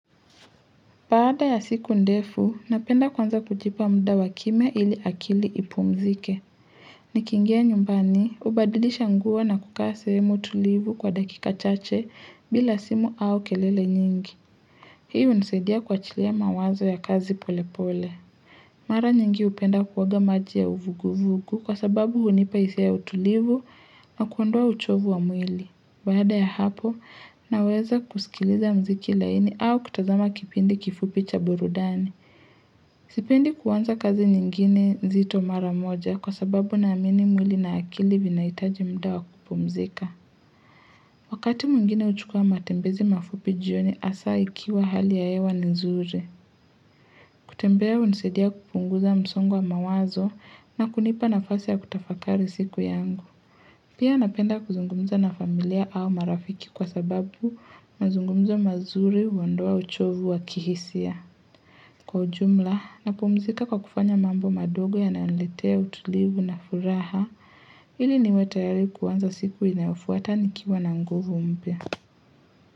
Baada ya siku ndefu, napenda kwanza kujipa muda wa kimya ili akili ipumzike. Nikiingia nyumbani, hubadilisha nguo na kukaa sehemu tulivu kwa dakika chache bila simu au kelele nyingi. Hii hunisaidia kuachilia mawazo ya kazi pole pole. Mara nyingi hupenda kuoga maji ya uvuguvugu kwa sababu hunipa hisia ya utulivu na kuondoa uchovu wa mwili. Baada ya hapo, naweza kusikiliza mziki laini au kutazama kipindi kifupi cha burudani. Sipendi kuanza kazi nyingine nzito mara moja kwasababu naamini mwili na akili vinahitaji muda wa kupumzika. Wakati mwingine huchukua matembezi mafupi jioni hasa ikiwa hali ya hewa ni nzuri. Kutembea hunisadia kupunguza msongo wa mawazo na kunipa nafasi ya kutafakari siku yangu. Pia napenda kuzungumza na familia au marafiki kwa sababu mazungumzo mazuri huondoa uchovu wa kihisia. Kwa ujumla, napumzika kwa kufanya mambo madogo yananiletea utulivu na furaha ili niwe tayari kuanza siku inayofuata nikiwa na nguvu mpya.